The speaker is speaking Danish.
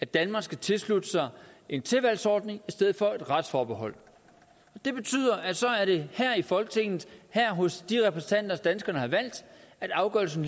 danmark skal tilslutte sig en tilvalgsordning i stedet for et retsforbehold og det betyder at så er det her i folketinget hos de repræsentanter danskerne har valgt at afgørelsen